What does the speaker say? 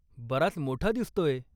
बराच मोठा दिसतोय!